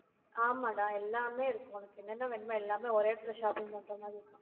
ஆமாடா, எல்லாமே இருக்கும். உனக்கு என்னென்ன வேணுமோ, எல்லாமே ஒரே இடத்துல shopping பண்ற மாதிரி இருக்கும்